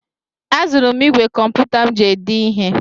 Azụrụ m ìgwè kọmputa m ji ede ihe.